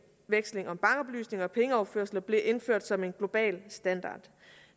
om bankoplysninger og pengeoverførsler bliver indført som en global standard